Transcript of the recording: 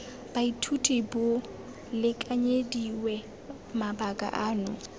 baithuti bo lekanyediwe mabaka ano